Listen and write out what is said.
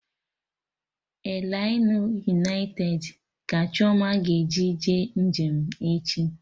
Elainụ yunaitedi ka Chioma ga-eji jee njem echi